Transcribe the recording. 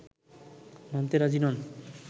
মানতে রাজি নন